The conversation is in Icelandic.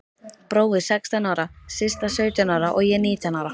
Brói sextán ára, Systa sautján ára og ég nítján ára.